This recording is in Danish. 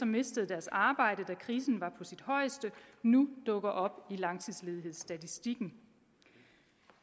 mistede deres arbejde da krisen var på sit højeste nu dukker op i langtidsledighedsstatistikken